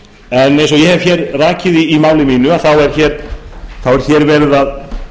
en eins og ég hef rakið er hér verið að